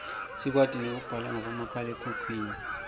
sikwati nekubala ngabomakhalekhukhwini